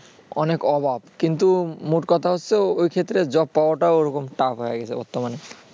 অনেক অভাব কিন্তু মোট কথা হচ্ছে ওই ক্ষেত্রে job পাওয়াটাও এখন Tough হয়ে গেছে আরকি বর্তমানে